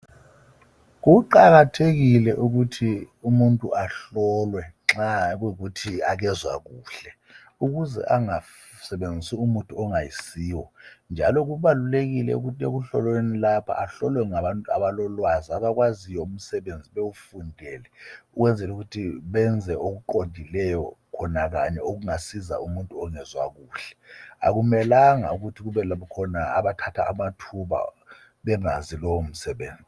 Kuqakathekile ukuthi umuntu ahlolwe nxa kuyikuthi akezwakahle. Ukuze angasebenzisi umuthi ongayisiwo njalo kubalulekile ukuthi ekuhlolweni lapha ahlolwe ngabantu abalolwazi umsebenzi sebewufundele ukwenzela ukuthi benze okuqondileyo khona kanye okungasiza umuntu ongezwa kahle akumelanga kube nalaba abathatha amathuba bengazi lo msebenzi .